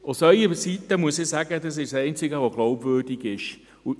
Ich muss sagen, dass es aus Ihrer Sicht das einzig Glaubwürdige ist.